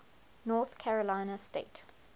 north carolina state